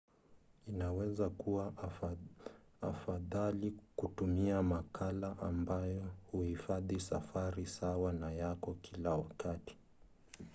inaweza kuwa afadhali kutumia wakala ambaye huhifadhi safari sawa na yako kila wakati